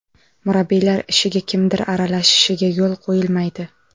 Murabbiylar ishiga kimdir aralashishiga yo‘l qo‘yilmaydi.